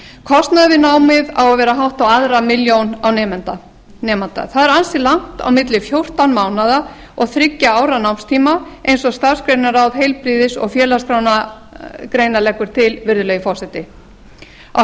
kostnaður við námið á að vera hátt á aðra milljón á nemanda það er ansi langt á milli fjórtán mánaða og þriggja ára námstíma eins og starfsgreinaráð heilbrigðis og félagsgreina leggur til virðulegi forseti á